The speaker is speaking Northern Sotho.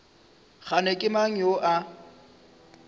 kgane ke mang yo a